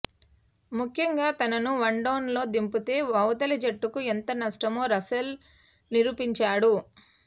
ముఖ్యంగా తనను వన్డౌన్లో దింపితే అవతలి జట్టుకు ఎంత నష్టమో రసెల్ నిరూపించాడు